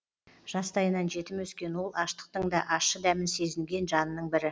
жастайынан жетім өскен ол аштықтың да ащы дәмін сезінген жанның бірі